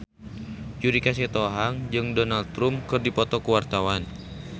Judika Sitohang jeung Donald Trump keur dipoto ku wartawan